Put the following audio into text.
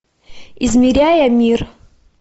измеряя мир